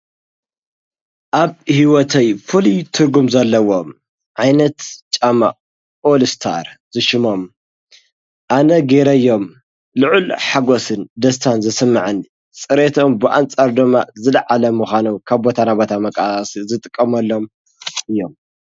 ኣብ ሕይወተይ ፍል ትርጉም ዘለዎ ዓይነት ጫማ ኦልስታር ዝሽሞም ኣነ ገይረዮም ልዑል ሓጐስን ደስታን ዘስምዐኒ ጽሬቶኦም ብኣንፃር ዶማ ዘለዓለ ምዃኖው ካብ ቦታናበታ መቃስ ዝጥቀሞሎም እዮም።